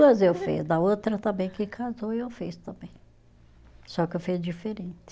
Duas eu fiz, da outra também que casou eu fiz também, só que eu fiz diferente.